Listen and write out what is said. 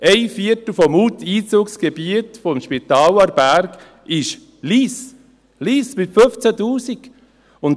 Lyss ist ein Viertel des Einzugsgebiets des Spitals Aarberg, Lyss, mit 15 000!